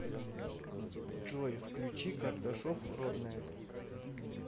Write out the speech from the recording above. джой включи карташов родная